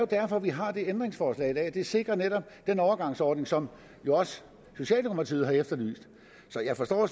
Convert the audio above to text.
derfor vi har det ændringsforslag i dag det sikrer netop den overgangsordning som jo også socialdemokratiet har efterlyst så jeg forstår